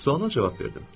Suala cavab verdim.